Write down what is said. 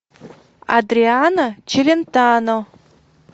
адриано челентано